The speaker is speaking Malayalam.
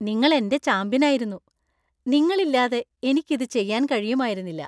നിങ്ങൾ എന്‍റെ ചാമ്പ്യനായിരുന്നു! നിങ്ങളില്ലാതെ എനിക്ക് ഇത് ചെയ്യാൻ കഴിയുമായിരുന്നില്ല.